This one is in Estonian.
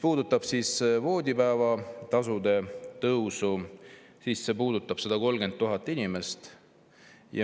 Voodipäevatasu tõus puudutab 130 000 inimest.